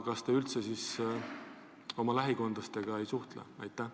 Kas te siis üldse oma lähikondlastega ei suhtle?